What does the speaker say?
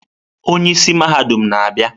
Onye isi mahadum na-abịa.